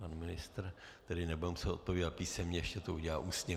Pan ministr tedy nebude muset odpovídat písemně, ještě to udělá ústně.